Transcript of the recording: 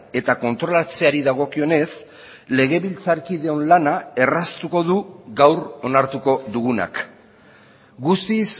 eta kontrolatzeari dagokionez legebiltzarkideon lana erraztuko du gaur onartuko dugunak guztiz